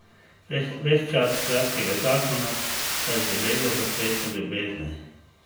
Ves čas kratkega zakona sta živela v plesu ljubezni.